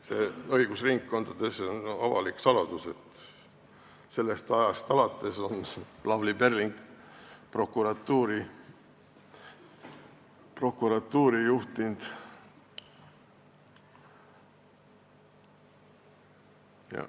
See on õigusringkondades avalik saladus, et sellest ajast alates on Lavly Perling prokuratuuri juhtinud.